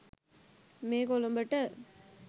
මේ කොළඹට